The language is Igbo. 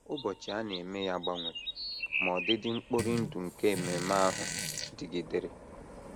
Ụbọchị a na - eme ya gbanwere, ma ọdịdị mkpori ndụ nke ememe ahụ dịgidere.